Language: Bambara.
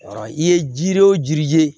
i ye jiri wo jiri